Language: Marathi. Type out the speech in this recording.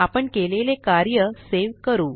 आपण केलेले कार्य सेव करू